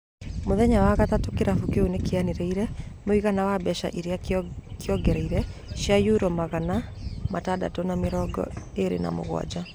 Mũthenya wa gatatũ kĩlafu kĩu nĩ kĩanereire mũigana wa mbeeca iria kĩongereire cia Euro mirioni magana matandatũ na mĩrongo ĩĩrĩ na mũgwanja.